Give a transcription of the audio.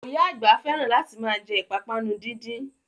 Oya àgbà fẹ́ràn láti ma jẹ́ ìpápánu díndín